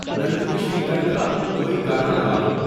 Nandini Shrikar کا کوئی گانا لگا دو